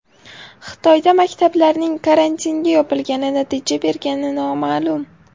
Xitoyda maktablarning karantinga yopilgani natija bergani noma’lum.